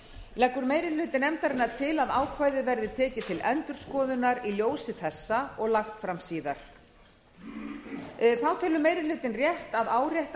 leggur meiri hluti nefndarinnar til að ákvæðið verði tekið til endurskoðunar í ljósi þessa og lagt fram síðar þá telur meiri hlutinn rétt að árétta